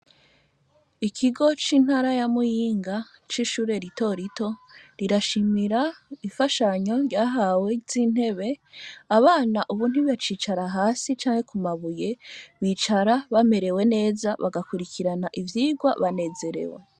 Ikigo c'intara ya muyinga c'ishure ritorito, rirashimira ifashanyo ryahawe z'intebe, abana ubu ntibacicara hasi canke ku mabuye, bicara bamerewe neza bagakurikirana ivyirwa banezerewe.